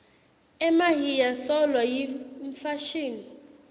emahiya solo yimfashini